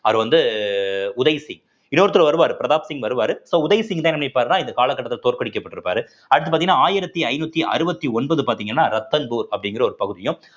அவர் வந்து உதய் சிங் இன்னொருத்தர் வருவாரு பிரதாப் சிங் வருவாரு so உதய் சிங் தான் என்ன நினைப்பாருன்னா இந்த கால கட்டத்துல தோற்கடிக்கப்பட்டிருப்பாரு அடுத்து பார்த்தீங்கன்னா ஆயிரத்தி ஐந்நூத்தி அறுவத்தி ஒன்பது பார்த்தீங்கன்னா ரத்தன்போர் அப்படிங்கிற ஒரு பகுதியும்